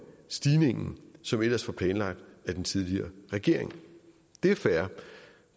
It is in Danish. stigningen som ellers var planlagt af den tidligere regering det er fair